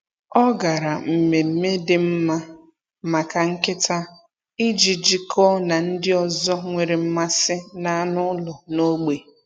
Ọ gara mmemme dị mma maka nkịta iji jikọọ na ndị ọzọ nwere mmasị n’anụ ụlọ n’ógbè.